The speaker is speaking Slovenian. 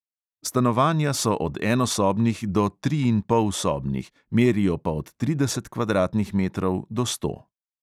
Stanovanja so od enosobnih do triinpolsobnih, merijo pa od trideset kvadratnih metrov do sto.